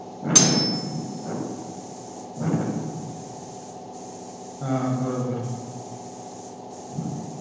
हा बरोबर